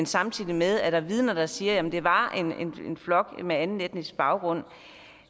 samtidig med at der er vidner der siger at det var en flok med anden etnisk baggrund